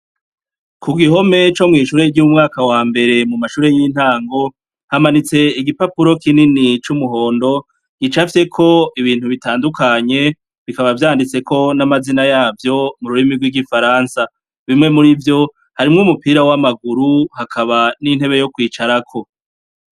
Kugihome co mw'ishure ry'umwaka wambere Mumashure y'intango, Hamanitse igipapuro Kinini c'umuhondo, gicafyeko ibintu bitandukanye bikaba vyanditseko n'amazina yavyo, mururimi rw'igifaransa. bimwe murivyo, harimwo umupira w'amaguru, hakaba n'intebe yo kwicarako.